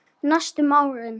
Næstu árin.